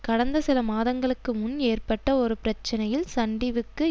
கடந்த சில மாதங்களுக்கு முன் ஏற்பட்ட ஒரு பிரச்சனையில் சன்டிவிக்கு